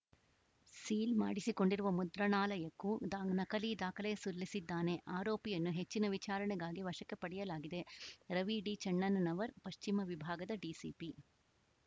seal ಮಾಡಿಸಿಕೊಂಡಿರುವ ಮುದ್ರಾಣಾಲಯಕ್ಕೂ the ನಕಲಿ ದಾಖಲೆ ಸಲ್ಲಿಸಿದ್ದಾನೆ ಆರೋಪಿಯನ್ನು ಹೆಚ್ಚಿನ ವಿಚಾರಣೆಗಾಗಿ ವಶಕ್ಕೆ ಪಡೆಯಲಾಗಿದೆ ರವಿ ಡಿಚನ್ನಣ್ಣನವರ್‌ ಪಶ್ಚಿಮ ವಿಭಾಗದ ಡಿಸಿಪಿ